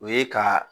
O ye ka